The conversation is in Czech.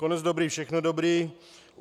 Konec dobrý, všechno dobré.